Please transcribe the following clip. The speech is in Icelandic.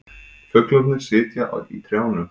Fuglarnir sitja í trjánum.